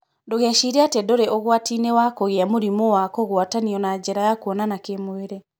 Ndũgecirie atĩ ndũrĩ ũgwati-inĩ wa kũgia mũrimũ wa kugwatanio na njĩra ya kuonana kĩmwĩrĩ.